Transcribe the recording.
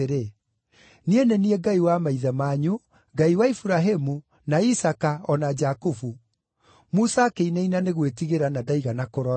‘Niĩ nĩ niĩ Ngai wa maithe manyu, Ngai wa Iburahĩmu, na Isaaka, o na Jakubu.’ Musa akĩinaina nĩ gwĩtigĩra na ndaigana kũrora.